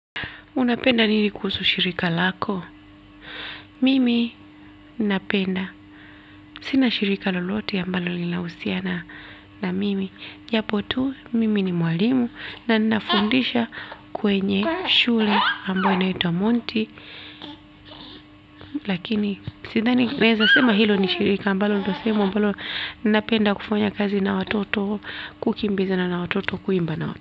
Unapenda nini kuhusu shirika lako? Mimi napenda. Sina shirika lolote ambalo linahusiana na mimi. Japo tu mimi ni mwalimu na ninafundisha kwenye shule ambayo inaitwa monti. Lakini sidhani tunaeza sema hilo ni shirika ambalo ndio sehemu ambalo napenda kufanya kazi na watoto kukimbizana na watoto kuimba na watoto.